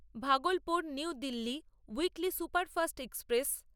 Bhagalpur new Delhi weekly superfast express